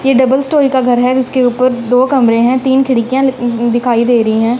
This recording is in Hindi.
ये डबल स्टोरी का घर है उसके ऊपर दो कमरे हैं तीन खिड़कियां दिखाई दे रही हैं।